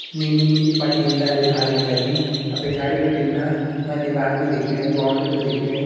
नीली-नीली पटियन धारीं लगीं और पिछाड़ी भिटिन ना म दीवाल भी दिख्याणी बॉउंड्री भी दिख्याणी।